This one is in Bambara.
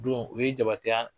O don o ye jabateya